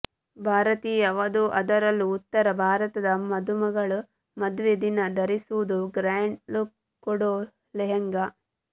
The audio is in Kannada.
ಭಾರತೀಯ ವಧು ಅದರಲ್ಲೂ ಉತ್ತರ ಭಾರತದ ಮದುಮಗಳು ಮದುವೆ ದಿನ ಧರಿಸುವುದು ಗ್ರ್ಯಾಂಡ್ ಲುಕ್ ಕೊಡೋ ಲೆಹಂಗಾ